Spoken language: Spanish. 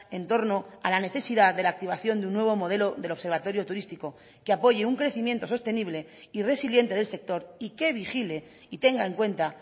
en torno a la necesidad de la activación de un nuevo modelo del observatorio turístico que apoye un crecimiento sostenible y resiliente del sector y que vigile y tenga en cuenta